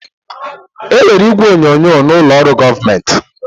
Enwere igwe onyonyo n'ụlọ ọrụ gọọmentị